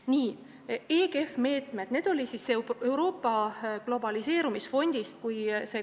Nii, EGF-i meetmed, Euroopa globaliseerumisfondi meetmed.